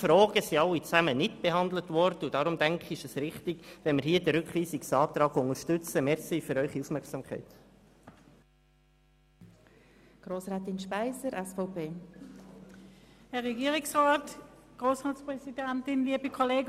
Diese Fragen sind nicht behandelt worden und deswegen, denke ich, ist es richtig, den Rückweisungsantrag zu unterstützen.